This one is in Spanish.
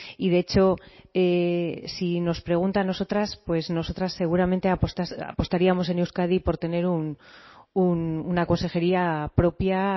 y de hecho si nos pregunta a nosotras pues nosotras seguramente apostaríamos en euskadi por tener una consejería propia